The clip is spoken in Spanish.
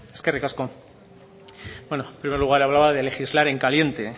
eskerrik asko beno en primer lugar hablaba de legislar en caliente